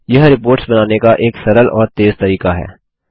यह रिपोर्ट्स बनाने का एक सरल और तेज़ तरीका है